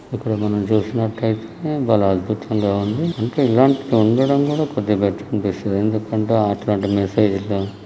ఇక్కడ మనం చూస్తున్నట్లు అయితే భలే అద్భుతం గా ఉంది. అంటే ఇలాంటివి ఉండటం కూడా కొద్దిగా బట్టర్ అనిపిస్తుంది. ఎందుకంటే అట్లాంటి మెసేజ్ లు--